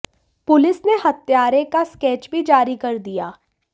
police ने हत्यारे का स्केच भी जारी कर दिया